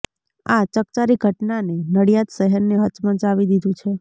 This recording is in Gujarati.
આ ચકચારી ઘટનાને નડીયાદ શહેરને હચમચાવી દીધું છે